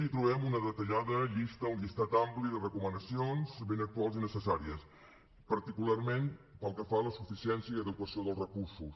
hi trobem una detallada llista un llistat ampli de recomanacions ben actuals i necessàries particularment pel que fa a la suficiència i adequació dels recursos